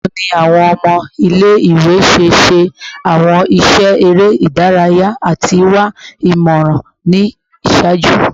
Bawo ni awọn ọmọ ile-iwe ṣe ṣe awọn iṣẹ ere idaraya ati wa imọran ni iṣaaju?